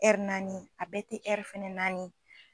naani a bɛɛ tɛ fɛnɛ naani.